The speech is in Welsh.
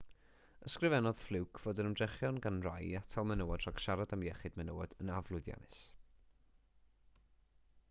ysgrifennodd fluke fod yr ymdrechion gan rai i atal menywod rhag siarad am iechyd menywod yn aflwyddiannus